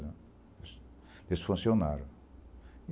Eles funcionaram.